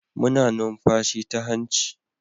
Muna numfashi ta hanci